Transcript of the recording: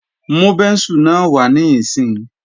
Mú bẹ́ńsù náà wá níìsín!